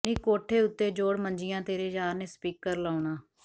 ਨੀ ਕੋਠੇ ਉਤੇ ਜੋੜ ਮੰਜੀਆਂ ਤੇਰੇ ਯਾਰ ਨੇ ਸਪੀਕਰ ਲਾਉਣਾ